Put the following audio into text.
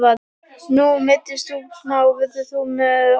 Nú meiddist þú smá, verður þú með á miðvikudag?